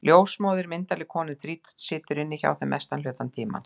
Ljósmóðirin, myndarleg kona um þrítugt, situr inni hjá þeim mestan hluta tímans.